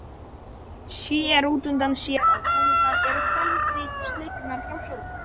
Sér útundan sér að konurnar eru felmtri slegnar hjá sófanum.